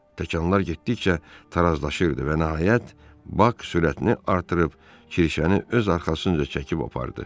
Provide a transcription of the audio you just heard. Təkanlar getdikcə tarazlaşırdı və nəhayət Bak sürətini artırıb kirşəni öz arxasınca çəkib apardı.